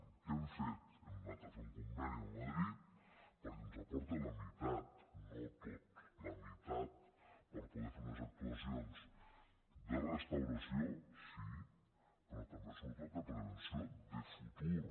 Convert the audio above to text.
què hem fet hem anat a fer un conveni amb madrid perquè ens aporta la meitat no tot la meitat per poder fer unes actuacions de restauració sí però també sobretot de prevenció de futur